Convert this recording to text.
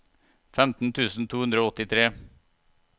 femten tusen to hundre og åttitre